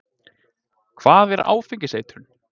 Hvað er áfengiseitrun?